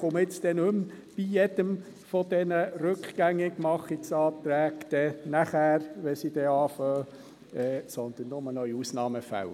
Ich melde mich nun nicht mehr bei jedem dieser «Rückgängigmachungsanträge», wenn sie dann nachher beginnen, sondern nur noch in Ausnahmefällen.